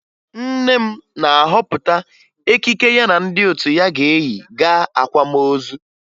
Nne m na-ahọpụta ekike ya na ndị otu ya ga-eyi gaa akwamozu